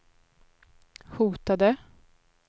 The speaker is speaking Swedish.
hotade